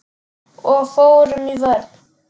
Og fórum í vörn.